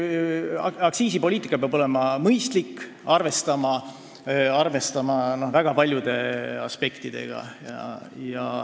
Aktsiisipoliitika peab olema mõistlik ja arvestama väga paljude aspektidega.